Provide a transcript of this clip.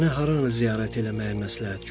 Mənə haranı ziyarət eləməyi məsləhət görürsüz?